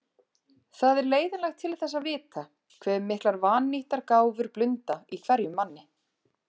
Það er leiðinlegt til þess að vita, hve miklar vannýttar gáfur blunda í hverjum manni.